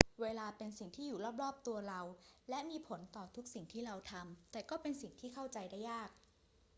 เวลาเป็นสิ่งที่อยู่รอบ ๆ ตัวเราและมีผลต่อทุกสิ่งที่เราทำ แต่ก็เป็นสิ่งที่เข้าใจได้ยาก